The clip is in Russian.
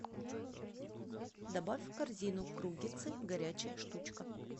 добавь в корзину круггетсы горячая штучка